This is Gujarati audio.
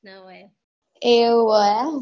એવું હે એમ